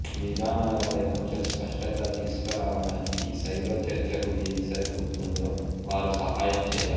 విధానాలపై కొంచెం స్పష్టత తీసుకురావడానికి సైబర్ చర్చకు ఏది సరిపోతుందో వారు సహాయం చేయాలి